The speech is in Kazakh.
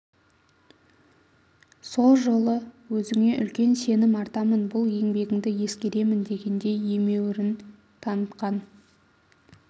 сол жолы өзіңе үлкен сенім артамын бұл еңбегіңді ескеремін дегендей емеуірін танытқан